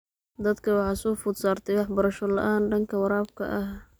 Dadka waxaa soo food saartay waxbarasho la�aan dhanka waraabka ah.